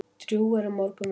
Drjúg eru morgunverkin.